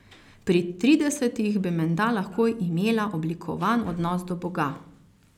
Pri tridesetih bi menda lahko imela oblikovan odnos do Boga.